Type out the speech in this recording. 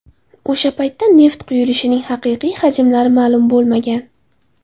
O‘sha paytda neft quyilishining haqiqiy hajmlari ma’lum bo‘lmagan.